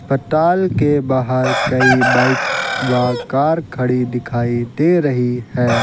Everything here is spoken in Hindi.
अस्पताल के बाहर कई बाइक व कार खड़ी दिखाई दे रही है।